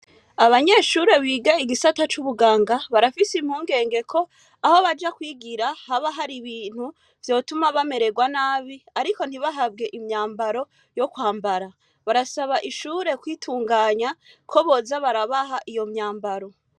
Abanyeshure biga igisata c'ubuganga barafise impungenge ko aho baja kwigira haba har'ibintu vyotuma bamererwa nabi ariko ntibahabwe imyambaro yo kwambara. Barasaba ishure kwitunganya ko boza barabaha iyomyambaro.